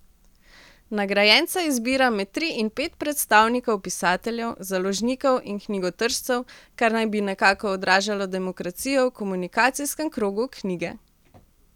Nagrajenca izbira med tri in pet predstavnikov pisateljev, založnikov in knjigotržcev, kar naj bi nekako odražalo demokracijo v komunikacijskem krogu knjige.